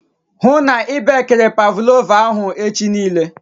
Ịhụ na i bekiri pavlova ahụ echi nille